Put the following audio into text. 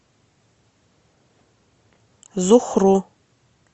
зухру